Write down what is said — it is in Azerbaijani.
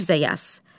Mirzə yaz.